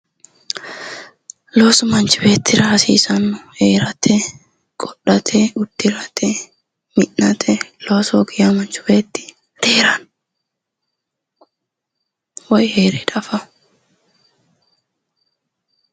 Loosu manchi beettira hasiisanno heerate qodhate uddirate mi'natte loosu hoogi yaa manchi beetti diheeranno woyi heere dafanno